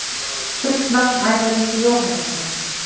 Fullt nafn: Ævar Ingi Jóhannesson